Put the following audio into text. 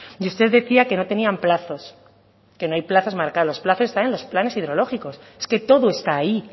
y usted decía que no tenían plazos que no hay plazos marcados los plazos están en los planes hidrológicos es que todo está ahí